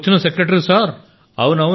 అప్పుడు వచ్చిన secretary sir